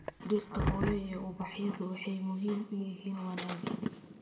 Dhirta hooyo iyo ubaxyadu waxay muhiim u yihiin wanaagga